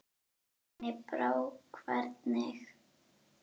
Henni brá hvergi.